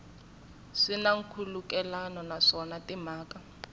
swi na nkhulukelano naswona timhaka